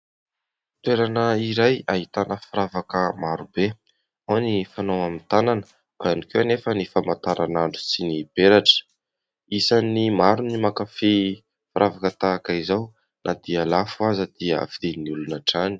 Toerana iray ahitana firavaka maro be. Ao ny fanao amin'ny tanana, ao ihany koa anefa ny famantaranandro sy ny peratra. Isan'ny maro ny mankafy firavaka tahaka izao. Na dia lafo aza dia vidian'ny olona hatrany.